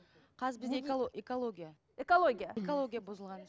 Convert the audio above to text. қазір бізде экология экология экология бұзылған